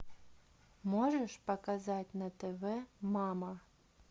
можешь показать на тв мама